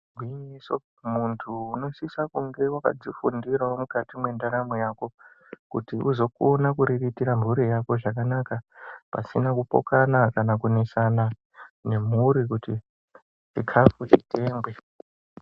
Igwinyiso muntu unosisa kunge wakadzifundirawo mukati mwendaramo yako kuti uzokona kuriritira mhuri yako zvakanaka pasina kupokana kana kunesana nemhuri kuti chikafu chitengwe.